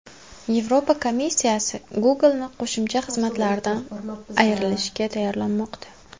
Yevropa komissiyasi Google’ni qo‘shimcha xizmatlardan ayirishga tayyorlanmoqda.